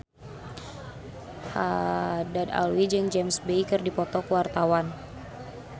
Haddad Alwi jeung James Bay keur dipoto ku wartawan